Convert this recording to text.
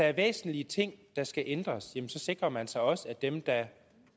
er væsentlige ting der skal ændres så sikrer man sig også at dem der